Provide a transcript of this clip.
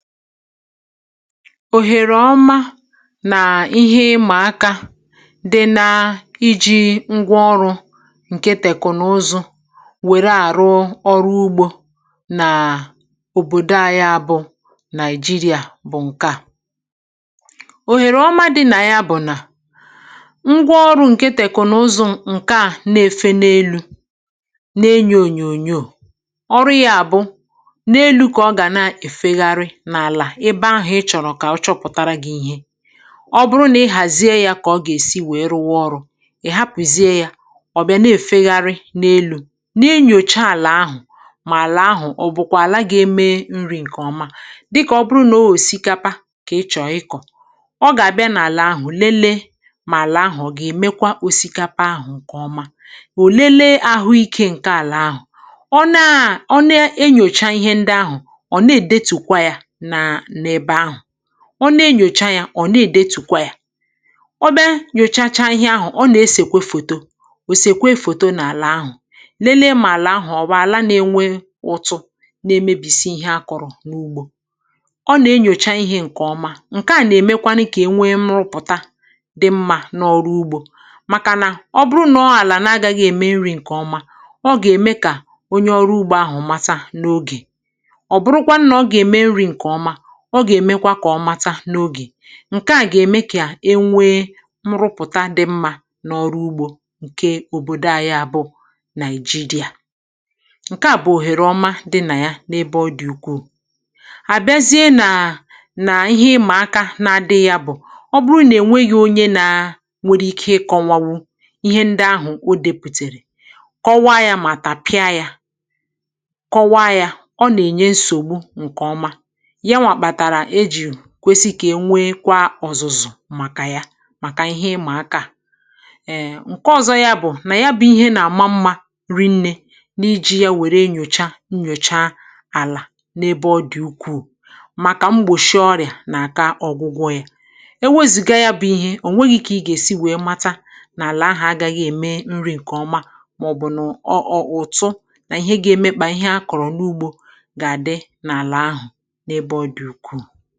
Ohèrè ọma nà ihe ịmà aka dị nȧ iji̇ ngwa ọrụ̇ ǹkẹ̀ tèkụ̀nụzụ wèrè àrụ ọrụ ugbȯ nàà òbòdo anyị a bụ Nigeria bụ̀ ǹkẹ̀ à. Ohèrè ọma dị nà yà bụ̀ nà, ngwa ọrụ̇ ǹkẹ̀ tèkụ̀nụzụ ǹkẹ̀ à nà-efe n’elu̇, nà enyò ònyònyò, ọrụ yȧ bụ, n’elu ka ọ ga n’efegharị n’ala ebe ahụ̀ ị chọ̀rọ̀ kà ọ chọpụ̀tara gị̇ ihe. Ọ bụrụ nà ị hàzie yȧ kà ọ gà-èsi wèe rụ wa ọrụ̇, ị̀ hapụ̀zie yȧ ọ̀ bịa na-èfegharị n’elu̇, n’enyòcha àlà ahụ̀, mà àlà ahụ̀ ọ̀ bụ̀kwà àlà gà-eme nri̇ ǹkèọma. Dịkà ọ bụrụ nà ọ òsikapa kà ị chọ̀rọ ịkọ̀, ọ gà-àbịa n’àlà ahụ̀ lele mà àlà ahụ̀ ọ gà-èmekwa osikapa ahụ̀ ǹkèọma, o lelee àhụikė ǹkè àlà ahụ̀. Ọ naa ọ na-enyòcha ihe ndị ahụ̀, ọ̀ nà-èdètùkwa yȧ na n’ebe ahụ. Ọ na-enyòcha yȧ ọ nà-èdètùkwa ya. Ọ bịa nyòchacha ihe ahụ̀, ọ nà-esèkwa fòto, òsèkwe fòto n’àlà ahụ̀, lelee mà àlà ahụ̀ ọ̀ bụ̀ àla na-enwe ụ̇tụ̇, na-emebìsi ihe a kọ̇rọ̀ n’ugbȯ. Ọ nà-enyòcha ihė ǹkè ọma. Nke à nà-èmekwanụ kà ènwe nrụpụ̀ta dị mmȧ n’ọrụ ugbȯ, màkànà ọ bụrụ nà ọ àlà na-agȧghị̇ ème nri̇ ǹkè ọma, ọ gà-ème kà onye ọrụ ugbȯ ahụ̀ mata n’ogè. Ọ bụrụkwanụ na ọ ga eme nri nke ọma, ọ gà-èmekwa kà ọ mata n’ogè. Nke à gà-ème kà e nwee nrụpụ̀ta dị mmȧ n’ọrụ ugbȯ ǹke òbòdò anyị ȧ bụ Nigeria. Nke à bụ̀ òhèrè ọma dị nà ya n’ebe ọ dị̇ ukwuù. A bịazie nà nà ihe ịmà aka na-adị yȧ bụ̀, ọ bụrụ nà ènweghị̇ onye nȧ nwere ike kọwa wụ ihe ndị ahụ̀ o depùtèrè, kọwa yȧ mà tapịa yȧ, kọwa yȧ, ọ nà-ènye nsògbu ǹkè ọma. Ya nwa kpatara e ji kwesì kà e nwekwa ọ̀zụ̀zụ̀ màkà ya, màkà ihe ịmà aka à. um Nke ọ̀zọ ya bụ̀ nà ya bụ̇ ihe nà-àma mmȧ rie nnė n’iji ya wère nyòcha nyòcha àlà n’ebe ọ dị̀ ukwuù, màkà mgbòchị ọrị̀à nà-àka ọ̀gwụgwọ ya. Ewezùga ya bụ̇ ihe, o nweghi̇ ka ị gà-èsi wèe mata n’àlà ahụ̀ agȧghị ème nri̇ ǹkè ọma mà ọ̀ bụ̀ nà ọ ọ ụ̀tụ nà ihe ga-emekpà ihe a kọ̀rọ̀ n’ugbȯ gà-àdị n’àlà ahụ̀ n’ebe ọ dị ukwuu.